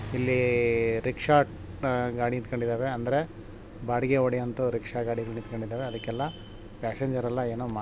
ಇಲ್ಲಿ ರಿಕ್ಷಾ ಗಾಡಿ ನಿಂತಕೋಡಿದಾವೆ ಅಂದ್ರೆ ಬಾಡಿಗೆ ಹೊಡಿಯುವಂತಹ ರಿಕ್ಷಾ ಗಾಡಿಗಳು ನಿಂತಕೋಡಿದಾವೆ ಅದಕ್ಕೆಲ್ಲ ಪ್ಯಾಸೆಂಜರ್ ಎಲ್ಲ ಏನೋ ಮಾಡ್ --